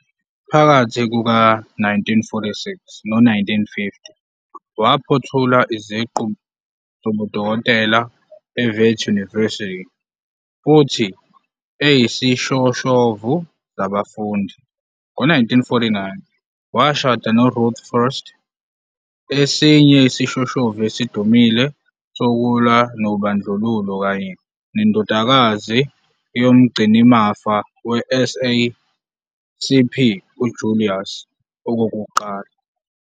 Phakathi kuka-1946 no-1950 waphothula iziqu zobudokotela eWits University futhi eyisishoshovu sabafundi. Ngo-1949 washada noRuth First, esinye isishoshovu esidumile sokulwa nobandlululo kanye nendodakazi yomgcinimafa weSACP uJulius Okokuqala.